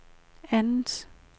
andet